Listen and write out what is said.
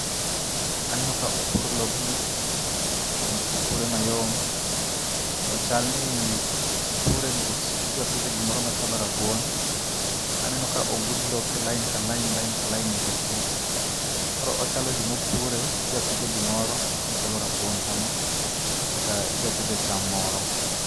Aneno ka opur lobni kendo opure mayom. To chalni opure nikech idwa pidhe gimoro machalo rabuon. Aneno ka ogud lope lain ka lain lain ka lain nyaka tung'. Koro ochalo gima opure idwa pidhe gimoro machalo rabuon kama. Kata idwa pidhe cham moro.